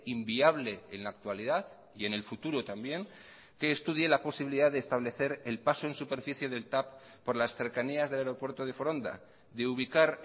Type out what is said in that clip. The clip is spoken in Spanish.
inviable en la actualidad y en el futuro también que estudie la posibilidad de establecer el paso en superficie del tav por las cercanías del aeropuerto de foronda de ubicar